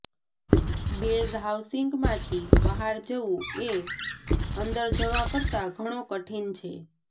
base હાઉસિંગમાંથી બહાર જવું એ અંદર જવા કરતાં ઘણો કઠિન છે